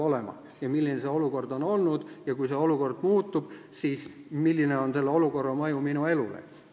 Nad teavad, milline on olukord olnud ja kui see muutub, siis nad küsivad, mis on selle mõju minu elule.